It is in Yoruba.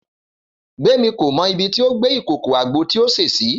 Gbémi kò mọ ibi tí ó gbé ìkòkò àgbo tí ó sè sí